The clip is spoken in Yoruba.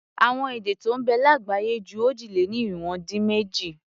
Àwọn èdè tó ń bẹ lágbàáyé ju òjì-lé-ní-irinwó-dín-méjì.